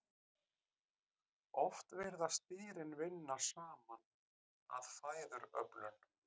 Oft virðast dýrin vinna saman að fæðuöflun.